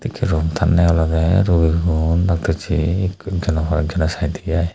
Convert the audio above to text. ekkey room tanye olwdey rogigun dactossey ik hoiek hoiek jon saidey i.